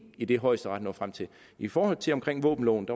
i det højesteret når frem til i forhold til våbenloven